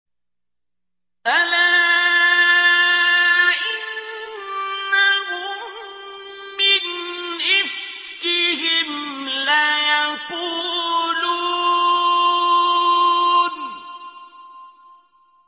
أَلَا إِنَّهُم مِّنْ إِفْكِهِمْ لَيَقُولُونَ